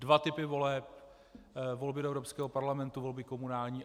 Dva typy voleb - volby do Evropského parlamentu, volby komunální.